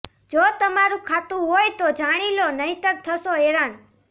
જો તમારું ખાતું હોય તો જાણી લો નહીંતર થશો હેરાન